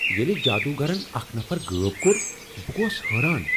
ییٚلہ جادوگرن اکھ نفر غٲب کوٚر، بہٕ گووس حٲران۔